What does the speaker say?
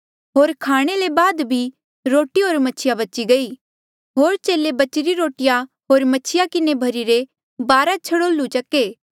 होर खाणे ले बाद बी रोटी होर मछिया बची गई होर चेले बचिरी रोटिया होर मछिया किन्हें भर्हिरी बारा छड़ोल्लू चक्के